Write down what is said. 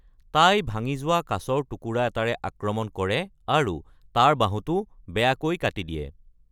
তাই ভাঙি যোৱা কাঁচৰ টুকুৰা এটাৰে আক্ৰমণ কৰে, তাৰ বাহুটো বেয়াকৈ কাটি দিয়ে।